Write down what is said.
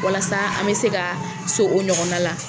Walasa an mɛ se ka so o ɲɔgɔnna la.